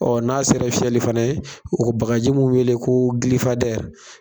Ɔ n'a sera fiyɛli fana ye, o bagaji bɛ wele ko gilifadɛri